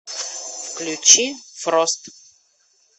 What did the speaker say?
включи фрост